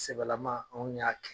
Sɛbɛlaman anw y'a kɛ.